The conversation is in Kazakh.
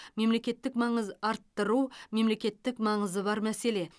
мемлекеттік маңыз арттыру мемлекеттік маңызы бар мәселе